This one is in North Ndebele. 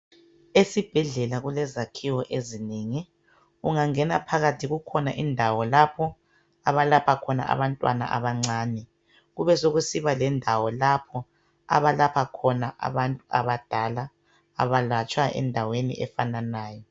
Esibhedlela kulezakhiwo ezinengi. Ungangena phakathi kukhona indawo lapho abalapha khona abantwana abancane kube sokusiba lendawo lapho abalapha khona abantu abadala, abalatshwa endaweni efananayo.